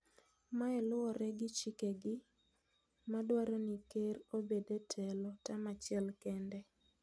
Mae luwore gi chikegi madwaro ni ker obed e telo tam achiel kende.